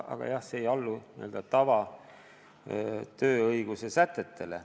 Aga jah, see ei allu n-ö tavatööõiguse sätetele.